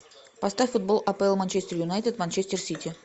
поставь футбол апл манчестер юнайтед манчестер сити